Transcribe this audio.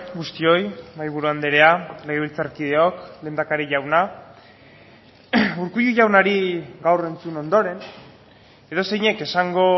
guztioi mahaiburu andrea legebiltzarkideok lehendakari jauna urkullu jaunari gaur entzun ondoren edozeinek esango